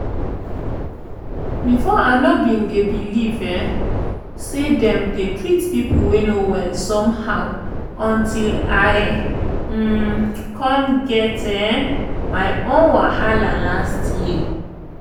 before i no bin dey believe um say dem dey treat people wey no well somehow until i um come get um my own wahala last year.